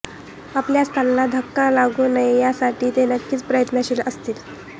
आपल्या स्थानाला धक्का लागू नये यासाठी ते नक्कीच प्रयत्नशील असतील